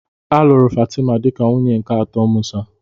A lụrụ Fatima dịka nwunye nke atọ Musa.